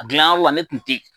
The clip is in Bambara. A gilan yɔrɔ na ne tun tɛ yen.